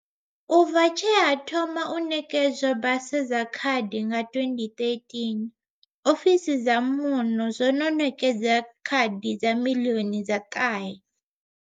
U bva tshe ha thoma u ṋekedzwa basa dza khadi nga 2013, ofisi dza zwa Muno dzo no ṋekedza khadi dza miḽioni dza ṱahe.